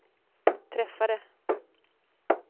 träffade